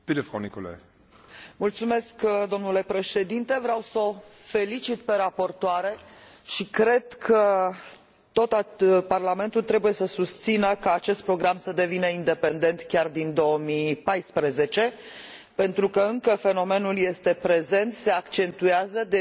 Vreau s o felicit pe raportoare și cred că tot Parlamentul trebuie să susțină ca acest program să devină independent chiar din 2014, pentru că încă fenomenul este prezent, se accentuează, devine din ce în ce mai insidios și mai rafinat,